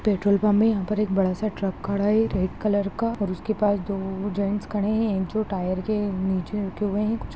Petrol pump है। यहाँ पर एक बड़ा सा ट्रक खड़ा है रेड कलर का और उसके पास दो जैंट्स खड़े हैं एक जो टायर के नीचे रखे हुए हैं कुछ --